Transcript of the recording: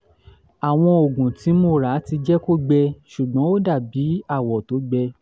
àwọn oògùn tí mo ra ti jẹ́ kó gbẹ ṣùgbọ́n ó dàbí awọ tó gbẹ